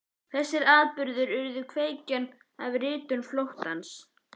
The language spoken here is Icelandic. Þessir atburðir urðu kveikjan að ritun Flóttans.